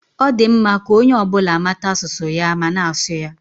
Ọ dị mma ka onye ọ bụla mata asụsụ ya ma na-asụ ya.